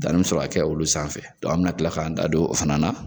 Danni be sɔrɔ ka kɛ olu sanfɛ. an be na kila k'an da don olu fana na.